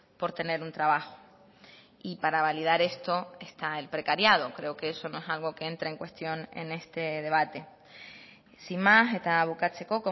por tener un trabajo y para validar esto está el precariado creo que eso no es algo que entra en cuestión en este debate sin más eta bukatzeko